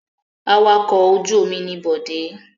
Awakọ̀ ojú-omi ni Bọ̀dé.